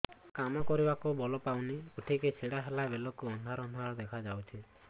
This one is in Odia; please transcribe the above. କାମ କରିବାକୁ ବଳ ପାଉନି ଉଠିକି ଛିଡା ହେଲା ବେଳକୁ ଅନ୍ଧାର ଅନ୍ଧାର ଦେଖା ଯାଉଛି